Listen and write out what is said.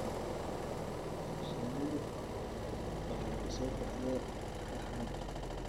Shinnidu waxay ku soo baxdaa raxan.